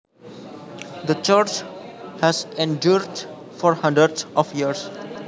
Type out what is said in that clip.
The church has endured for hundreds of years